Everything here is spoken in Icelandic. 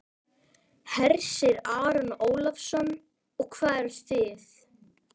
Hersir Aron Ólafsson: Og hvað eruð þið?